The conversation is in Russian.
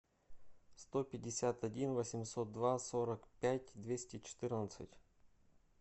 сто пятьдесят один восемьсот два сорок пять двести четырнадцать